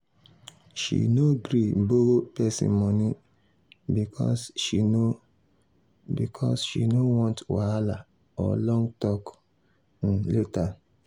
she no gree borrow person money because she no because she no want wahala or long talk um later.